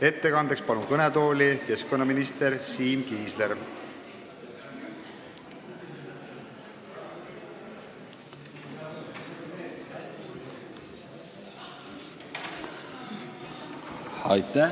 Ettekandeks palun kõnetooli keskkonnaminister Siim Kiisleri!